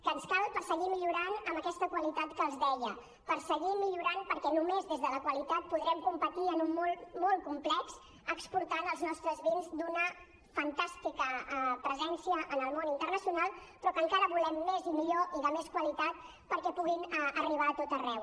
que ens cal per seguir millorant amb aquesta qualitat que els deia per seguir millorant perquè només des de la qualitat podrem competir en un món complex exportant els nostres vins d’una fantàstica presència en el món internacional però que encara volem més i millor i de més qualitat perquè puguin arribar a tot arreu